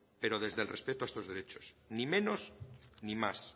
pero desde el respeto a estos derechos ni menos ni más